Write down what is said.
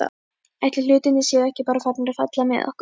Ætli hlutirnir séu ekki bara farnir að falla með okkur?